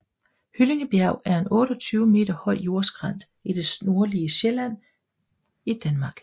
Hyllingebjerg er en 28 meter høj jordskrænt i det nordlige Sjælland i Danmark